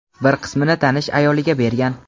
bir qismini tanish ayoliga bergan.